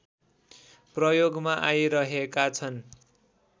प्रयोगमा आइरहेका छन्